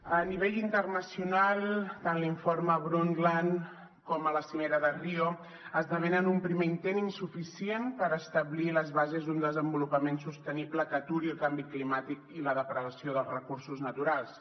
a nivell internacional tant l’informe brundtland com la cimera de rio esdevenen un primer intent insuficient per establir les bases d’un desenvolupament sostenible que aturi el canvi climàtic i la depredació dels recursos naturals